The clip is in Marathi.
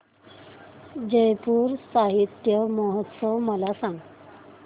जयपुर साहित्य महोत्सव मला सांग